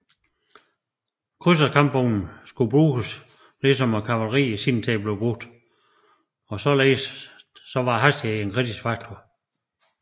Krydserkampvognen skulle bruges ligesom kavaleriet i sin tid blev brugt og således var hastighed en kritisk faktor